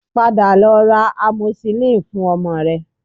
Padà lọ ra amoxicillin fun ọmọ rẹ